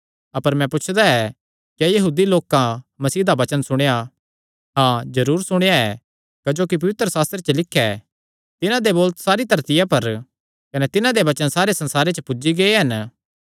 अपर मैं पुछदा ऐ क्या यहूदी लोकां मसीह दा वचन सुणेया हाँ जरूर सुणेया ऐ क्जोकि पवित्रशास्त्रे च लिख्या ऐ तिन्हां दे बोल सारिया धरतिया पर कने तिन्हां दे वचन सारे संसारे च पुज्जी गै हन